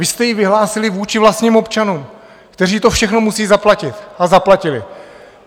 Vy jste ji vyhlásili vůči vlastním občanům, kteří to všechno musí zaplatit, a zaplatili!